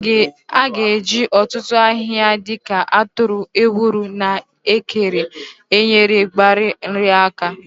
A ga-eji ọtụtụ ahịhịa dị ka atụrụ, ewuro, na ekere enyere mgbari nri aka.